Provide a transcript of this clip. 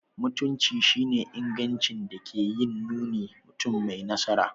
Mutunci shi ne ingancin da ke yin nuni mutum mai nasara.